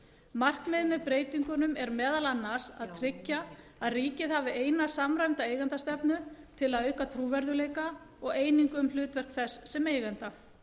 markmiðið með breytingunum er meðal annars að tryggja að ríkið hafi eina samræmda eigendastefnu til að auka trúverðugleika og einingu um hlutverk þess sem eiganda